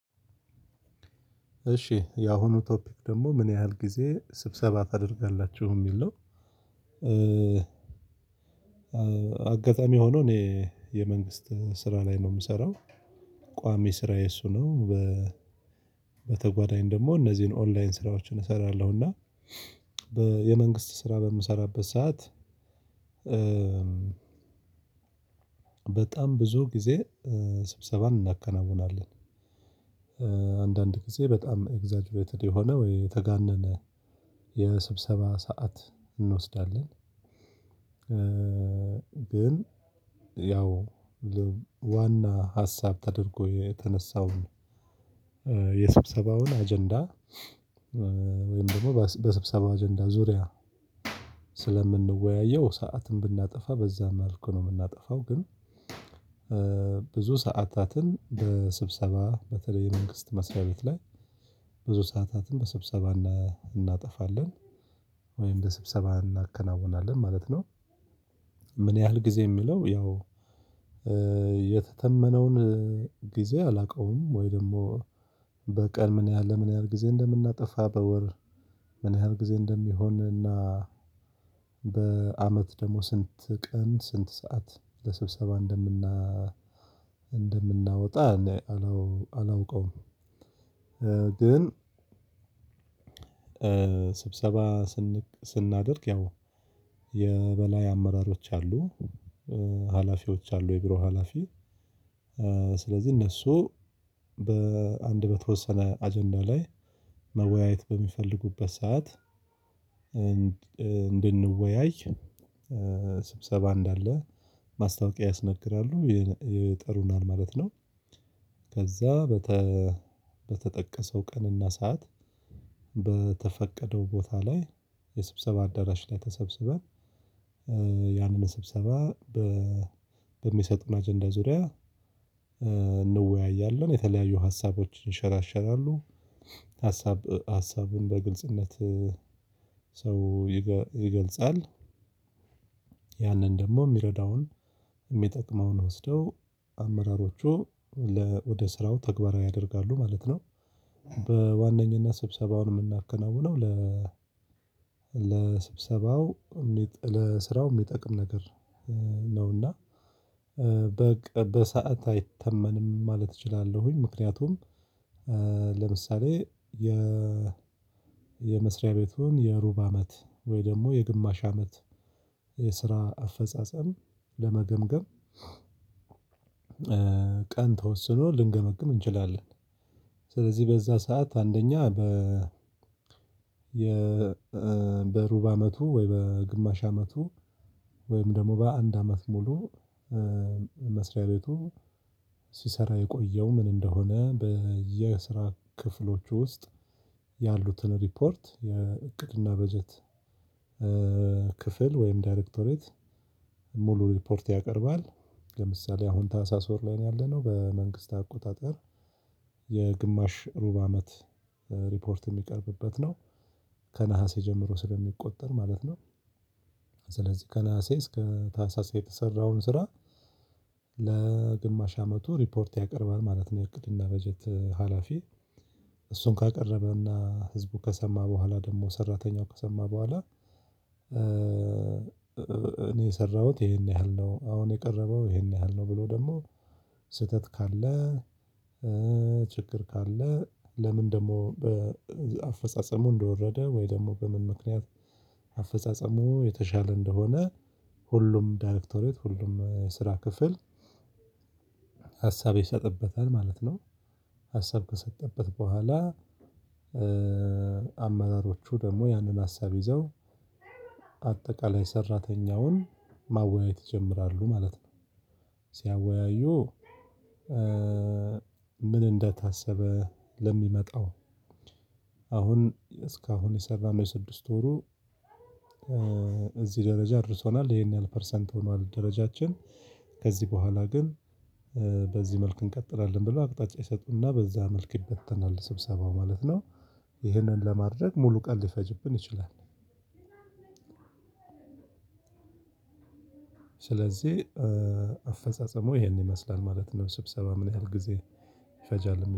እሺ ያሁኑ ቶፒክ ደግሞ ምን ያህል ጊዜ ስብሰባ ታደርጋላቹህ የሚል ነው። አጋጣሚ ሆኖ እኔ የመንግስት ስራ ላይ ነው የምሰራው። ቋሚ ስራዬ እሱ ነው። በተጓዳኝ ደግሞ እነዚህን ኦንላይን ስራዎችን እሰራለሁ እና የመንግስት ስራ በምሰራበት ሰዓት። በጣም ብዙ ጊዜ ስብሰባን እናከናውናለን። አንዳንድ ጊዜ በጣም ኤግዛግ ሜትድ የሆነ ወይ የተጋነነ የስብሰባ ሰዓት እንወስዳለን። ግን ያው ዋና ሀሳብ ተደርጎ የተነሳውን የስብሰባውን አጀንዳ ወይም ደግሞ በስብሰባ አጀንዳ ዙሪያ ስለምንወያየው ሰዓትን ብናጠፋ በዛም መልኩ ነው የምናጠፋው። ግን ብዙ ሰዓታትን በስብሰባ በተለይ የመንግስት መስሪያ ቤት ላይ ብዙ ሰዓታትን በስብሰባ እናጠፋለን ወይም በስብሰባ እናከናውናለን ማለት ነው። ምን ያህል ጊዜ የሚለው ያው የተተመነውን ጊዜ አላውቀውም። ወይ ደግሞ በቀል ምን ያህል ለምን ያህል ጊዜ እንደምናጠፋ በወር ምን ያህል ጊዜ እንደሚሆን እና በአመት ደግሞ ስንት ቀን ስንት ሰዓት ለስብሰባ እንደምና እንደምናወጣ አላውቀውም። ግን ስብሰባ ስንናደርግ ያው የበላይ አመራሮች አሉ ሀላፊዎች አሉ የቢሮ ሀላፊ ስለዚህ እነሱ በአንድ በተወሰነ አጀንዳ ላይ መወያየት በሚፈልጉበት ሰዓት እንድንወያይ ስብሰባ እንዳለ ማስታወቂያ ያስነግራሉ የጠሩናን ማለት ነው። ከዛ በተጠቀሰው ቀንና ሰዓት በተፈቀደው ቦታ ላይ የስብሰባ አዳራሽ ላይ ተሰብስበን ያንን ስብሰባ በሚሰጡን አጀንዳ ዙሪያ እንወያያለን የተለያዩ ሀሳቦችን ይንሸራሸራሉ። ሀሳብ ሀሳብን በግልጽነት ሰው ይገልጻል። ያንን ደግሞ የሚረዳውን የሚጠቅመውን ወስደው አመራሮቹ ወደ ስራው ተግባራዊ ያደርጋሉ ማለት ነው። በዋነኝነት ስብሰባውን የምናከናውነው ለ ለስብሰባው ለስራው የሚጠቅም ነገር ነውና በቃ በሰአት አይተመንም ማለት እችላለሁኝ። ምክንያቱም ለምሳሌ የ የመስሪያ ቤቱን የሩብ አመት ወይ ደግሞ የግማሽ አመት የስራ አፈጻጸም ለመገምገም ቀን ተወስኖ ልንገመግም እንችላለን። ስለዚህ በዛ ሰዓት አንደኛ በ የ በሩብ አመቱ ወይ በግማሽ አመቱ ወይም ደግሞ በአንድ አመት ሙሉ መስሪያ ቤቱ ሲሰራ የቆየው ምን እንደሆነ በየስራ ክፍሎቹ ውስጥ ያሉትን ሪፖርት የእቅድና በጀት ክፍል ወይም ዳይሬክቶሬት ሙሉ ሪፖርት ያቀርባል። ለምሳሌ አሁን ታህሳስ ወር ላይ ነው ያለነው በመንግስት አቆጣጠር የግማሽ ሩብ አመት ሪፖርት የሚቀርብበት ነው። ከነሀሴ ጀምሮ ስለሚቆጠር ማለት ነው። ስለዚህ ከነሐሴ እስከ ታህሳስ የተሰራውን ስራ ለግማሽ አመቱ ሪፖርት ያቀርባል ማለት ነው። የእቅድና በጀት ሀላፊ እሱነሰ ካቀረበና ህዝቡ ከሰማ በኋላ ደግሞ ሰራተኛው ከሰማ በኋላ እኔ የሰራዎት ይሄን ያህል ነው አሁን የቀረበው ይሄን ያህል ነው ብሎ ደግሞ ስህተት ካለ። ችግር ካለ ለምን ደግሞ አፈጻጸሙ እንደወረደ ወይ ደግሞ በምን ምክንያት አፈጻጸሙ የተሻለ እንደሆነ ሁሉም ዳሬክቶሬት ሁሉም የስራ ክፍል ሀሳብ ይሰጥበታል ማለት ነው። ሀሳብ ከሰጠበት በኋላ አመራሮቹ ደግሞ ያንን ሀሳብ ይዘው አጠቃላይ ሰራተኛውን ማወያየት ይጀምራሉ ማለት ነው። ሲያወያዩ ምን እንደታሰበ ለሚመጣው አሁን እስካሁን የሰራነው የስድስት ወሩ እዚህ ደረጃ አድርሶናል ይሄን ያህል ፐርሰንት ሆኗል ደረጃችን። ከዚህ በኋላ ግን በዚህ መልክ እንቀጥላለን ብለው አቅጣጫ ይሰጡናል በዛ መልክ ይበተናል ስብሰባ ማለት ነው። ይህንን ለማድረግ ሙሉ ቀን ሊፈጅብን ይችላል። ስለዚህ አፈጻጸሙ ይሄን ይመስላል ማለት ነው። ስብሰባ ምን ያህል ጊዜ ይፈጃል ለሚለው